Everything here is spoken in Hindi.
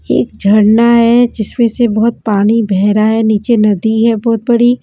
एक झड़ना है जिसमें से बहुत पानी बह रहा है नीचे नदी है बहुत बड़ी।